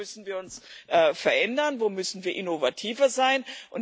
Wo müssen wir uns verändern, wo müssen wir innovativer sein?